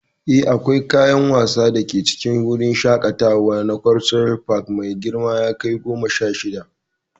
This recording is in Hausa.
Eh, akwai kayan wasa da ke cikin wurin shakatawa na Cultural Park mai girman eka goma sha shida.